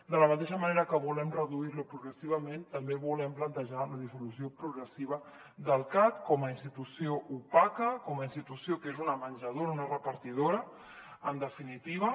de la mateixa manera que volem reduir·lo progressivament també volem plantejar la dissolució progressiva del cat com a institució opaca com a ins·titució que és una menjadora una repartidora en definitiva